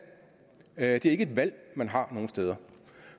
er ikke et valg man har nogen steder